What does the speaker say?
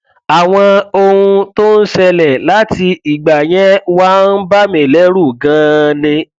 àwọn ohun tó ń ṣẹlẹ láti ìgbà yẹn wá ń bà mí lẹrù ganan ni